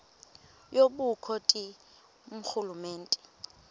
yobukro ti ngurhulumente